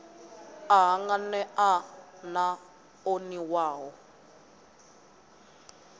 a hanganea na o niwaho